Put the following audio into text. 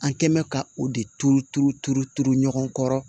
An kɛ mɛn ka o de turu turu turu turu ɲɔgɔn kɔrɔ